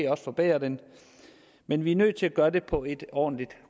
også forbedres men men vi er nødt til at gøre det på et ordentligt